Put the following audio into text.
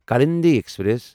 Kalindi express